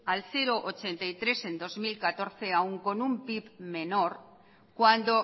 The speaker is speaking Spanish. al cero coma ochenta y tres en dos mil catorce aun con un pib menor cuando